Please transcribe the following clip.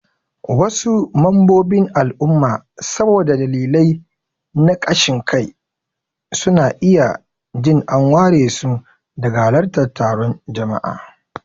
Wasu mambobin al'umma saboda dalilai na kashin kai, suna iya jin an waresu daga halartar taron jama'a.